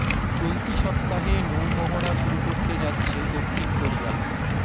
চলতি সপ্তাহে নৌ মহড়া শুরু করতে যাচ্ছে দক্ষিণ কোরিয়া